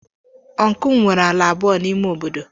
Ọncụl m nwere ala abụọ n'ime obodo.